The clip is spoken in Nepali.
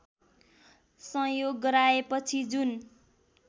संयोग गराएपछि जुन